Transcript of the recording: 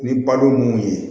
Ni balo mun ye